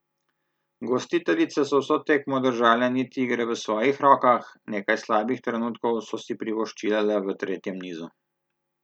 Gostiteljice so vso tekmo držale niti igre v svojih rokah, nekaj slabih trenutkov so si privoščile le v tretjem nizu.